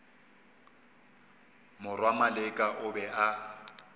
morwa maleka o be a